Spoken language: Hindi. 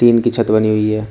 टीन की छत बनी हुई है।